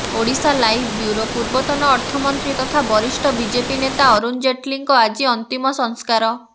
Odisha live bureau ପୂର୍ବତନ ଅର୍ଥମନ୍ତ୍ରୀ ତଥା ବରିଷ୍ଠ ବିଜେପି ନେତା ଅରୁଣ ଜେଟଲୀଙ୍କ ଆଜି ଅନ୍ତିମ ସଂସ୍କାର